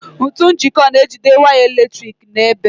Ntu njiko na-ejide waya eletrik n'ebe.